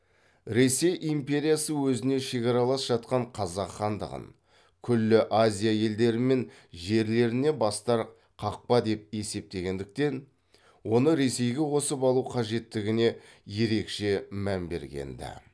ресей империясы өзіне шекаралас жатқан қазақ хандығын күллі азия елдері мен жерлеріне бастар қақпа деп есептегендіктен оны ресейге қосып алу қажеттігіне ерекше мән берген ді